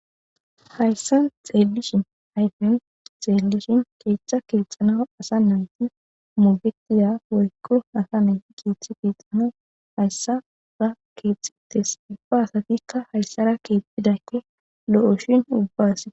Hayssan xeellishe,ayfen xeellishin keethe keexanas asa nayti go'etiza woyko asa nayti keethi keexetees. Ubba sayka haysara keexidayti lo'oshin,ubbba asas hani beyna.